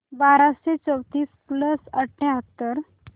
बाराशे चौतीस प्लस अठ्याहत्तर